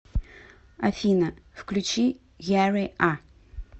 афина включи яри а